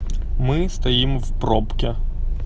мы стоим в пробке